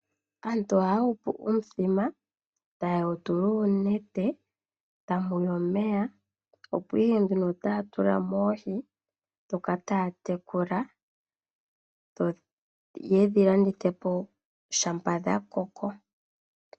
Aantu ohaya hupu uuthima, taya tula mo oonete noshowo omeya, opo ihe taya tula mo oohi ndhoka taya tekula yo ye dhi landithe po shampa dha koko.